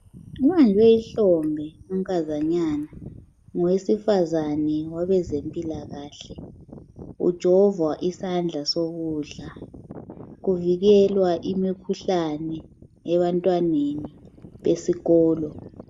Ubanjwe ihlombe unkazanyana ngowesifazane wabezempilakahle. Ujovwa isandla sokudla, kuvikelwa imikhuhlane ebantwaneni besikolo.